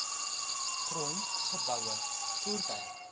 grond geboue voertuie